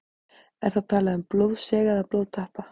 Er þá talað um blóðsega eða blóðtappa.